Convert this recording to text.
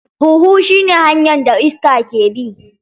Huhu shi ne hanyar da iska ke bi.